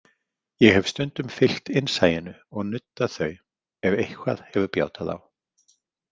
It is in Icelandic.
Ég hef stundum fylgt innsæinu og nuddað þau, ef eitthvað hefur bjátað á.